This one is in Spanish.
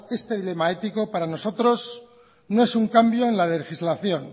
este dilema ético para nosotros no es un cambio en la legislación